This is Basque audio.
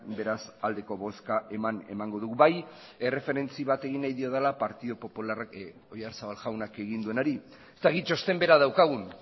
beraz aldeko bozka eman emango dugu bai erreferentzi bat egin nahi diodala partidu popularrak oyarzabal jaunak egin duenari ez dakit txosten bera daukagun